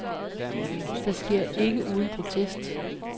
Det sker ikke uden protest.